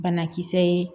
Banakisɛ ye